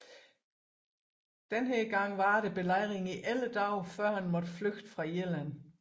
Denne gang varede belejringen i 11 dage før han måtte flygte fra Irland